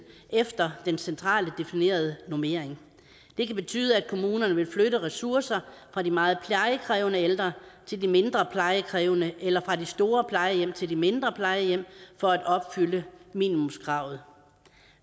efter den centralt definerede normering det kan betyde at kommunerne vil flytte ressourcer fra de meget plejekrævende ældre til de mindre plejekrævende eller fra de store plejehjem til de mindre plejehjem for at opfylde minimumskravet